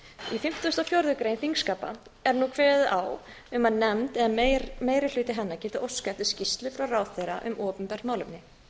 í fimmtugustu og fjórðu grein þingskapa er nú kveðið á um að nefnd eða meiri hluti hennar geti óskað eftir skýrslu frá ráðherra um opinbert málefni